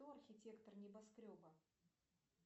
кто архитектор небоскреба